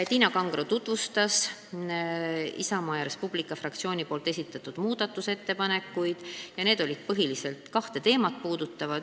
Tiina Kangro tutvustas Isamaa ja Res Publica Liidu fraktsiooni esitatud muudatusettepanekuid, mis puudutasid põhiliselt kahte teemat.